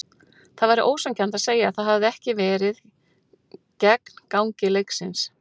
Það væri ósanngjarnt að segja að það hefði ekki verið gegn gangi leiksins.